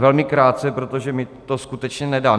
Velmi krátce, protože mi to skutečně nedá.